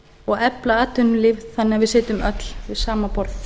og efla atvinnulíf þannig að við sitjum öll við sama borð